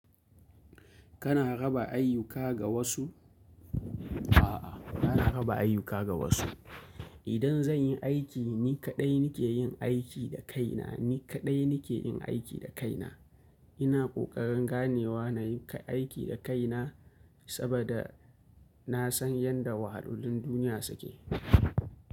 Kana raba ayyuka ga wasu? A'a, bana raba ayyuka ga wasu. Idan zan yi aiki ni kaɗai ni ke yin aiki da kaina, ni kaɗai ni ke yin aiki da kaina. Ina ƙoƙarin ganewa na yi aiki da kaina saboda na san yadda wahalolin duniya suke.